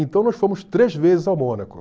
Então nós fomos três vezes ao Mônaco.